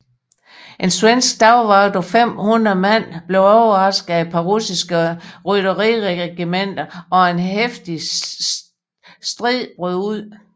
En svensk dagvakt på 500 mand blev overrasket af et par russiske rytteriregementer og en heftig stid brød ud